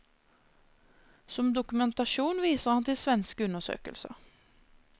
Som dokumentasjon viser han til svenske undersøkelser.